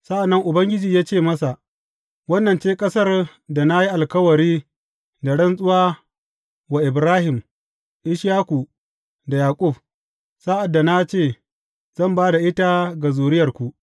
Sa’an nan Ubangiji ya ce masa, Wannan ce ƙasar da na yi alkawari da rantsuwa wa Ibrahim, Ishaku da Yaƙub, sa’ad da na ce, Zan ba da ita ga zuriyarku.’